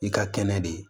I ka kɛnɛ de